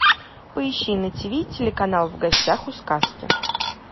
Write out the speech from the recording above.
поищи на ти ви телеканал в гостях у сказки